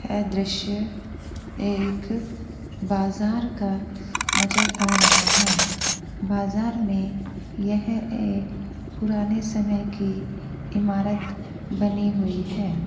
ऐ दृश्य एक बाजार का नजर आ रहा है बाजार में यह एक पुराने समय की इमारत बनी हुई है।